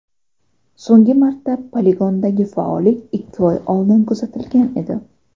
So‘nggi marta poligondagi faollik ikki oy oldin kuzatilgan edi.